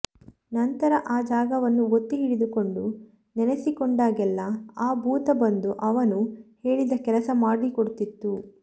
ನಂತರ ಆ ಜಾಗವನ್ನು ಒತ್ತಿಹಿಡಿದುಕೊಂಡು ನೆನೆಸಿಕೊಂಡಾಗೆಲ್ಲ ಆ ಭೂತ ಬಂದು ಅವನು ಹೇಳಿದ ಕೆಲಸ ಮಾಡಿಕೊಡ್ತಿತ್ತು